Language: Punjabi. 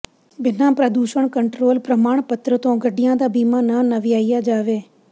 ਬਿਨਾ ਪ੍ਰਦੂਸ਼ਣ ਕੰਟਰੋਲ ਪ੍ਰਮਾਣ ਪੱਤਰ ਤੋਂ ਗੱਡੀਆਂ ਦਾ ਬੀਮਾ ਨਾ ਨਵਿਆਇਆ ਜਾਵੇ